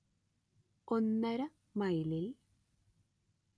ഒന്നര മൈലിൽ